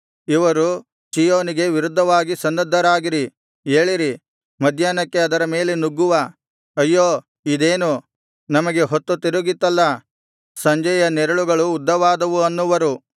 ಇವರು ಚೀಯೋನಿಗೆ ವಿರುದ್ಧವಾಗಿ ಸನ್ನದ್ಧರಾಗಿರಿ ಏಳಿರಿ ಮಧ್ಯಾಹ್ನಕ್ಕೆ ಅದರ ಮೇಲೆ ನುಗ್ಗುವ ಅಯ್ಯೋ ಇದೇನು ನಮಗೆ ಹೊತ್ತು ತಿರುಗಿತಲ್ಲಾ ಸಂಜೆಯ ನೆರಳುಗಳು ಉದ್ದವಾದವು ಅನ್ನುವರು